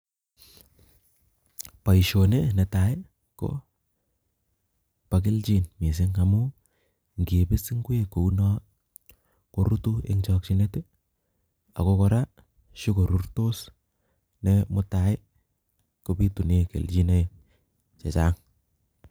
Boisoni nee tai ko bokelchin mising amuu nkiibis ingwek kouno ko rutu eng chakchinet ak ko kora shukorurtos ne mutai kobitune kelchinoik che chang